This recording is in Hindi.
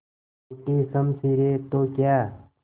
टूटी शमशीरें तो क्या